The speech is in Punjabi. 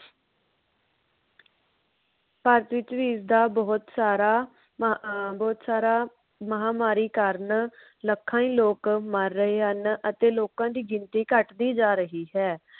ਭਾਰਤ ਵਿਚ ਵੀ ਇਸ ਦਾ ਬਹੁਤ ਸਾਰਾ ਬਹੁ ਅਮ ਬਹੁਤ ਸਾਰਾ ਮਹਾਮਾਰੀ ਕਾਰਨ ਲੱਖਾਂ ਹੀ ਲੋਕ ਮਰ ਰਹੇ ਹਨ। ਅਤੇ ਲੋਕਾਂ ਦੀ ਗਿਣਤੀ ਘਟਦੀ ਦੀ ਜਾ ਰਹੀ ਹੈ।